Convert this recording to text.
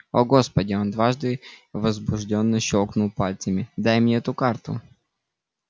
о господи он дважды возбуждённо щёлкнул пальцами дай мне эту карту